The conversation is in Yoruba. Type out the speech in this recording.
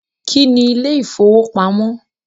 Kí ni ilé ìfowópamọ́?